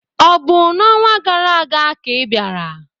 Ọ̀ bụ n'ọnwa gara aga ka ị bịara?